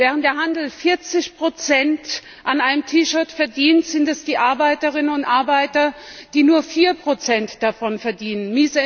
Während der Handel 40 an einem T Shirt verdient, sind es die Arbeiterinnen und Arbeiter, die nur 4 daran verdienen.